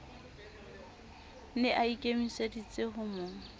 ne a ikemiseditse ho mo